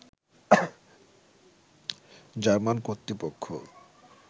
German কর্তৃপক্ষ